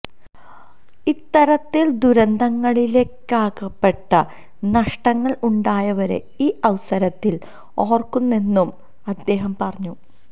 ഇത്തരത്തില് ദുരന്തങ്ങളിലകപ്പെട്ട് നഷ്ടങ്ങള് ഉണ്ടായവരെ ഈ അവസരത്തില് ഓര്ക്കുന്നെന്നും അദ്ദേഹം പറഞ്ഞു